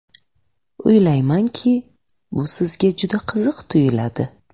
O‘ylaymanki, bu sizga juda qiziq tuyuladi.